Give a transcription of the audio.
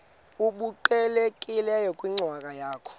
obuqhelekileyo kwinkcazo yakho